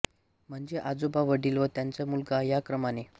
म्हणजे आजोबा वडिल व त्यांचा मुलगा या क्रमाने